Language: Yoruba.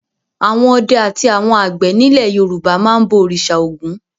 Àwọn ọdẹ àti àwọn àgbẹ̀ nílẹ̀ Yorùbá máa ń bọ òrìṣà Ògún.